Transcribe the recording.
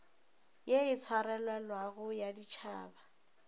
ye e swarelelago ya ditšhaba